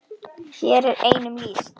Hér er einum lýst.